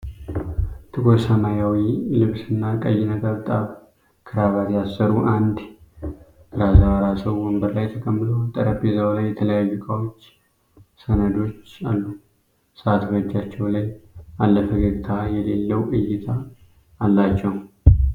ጥቁር ሰማያዊ ልብስና ቀይ ነጠብጣብ ክራባት ያሰሩ አንድ ራሰ በራ ሰው ወንበር ላይ ተቀምጠዋል። ጠረጴዛው ላይ የተለያዩ ዕቃዎችና ሰነዶች አሉ። ሰዓት በእጃቸው ላይ አለ፤ ፈገግታ የሌለው እይታ አላቸው።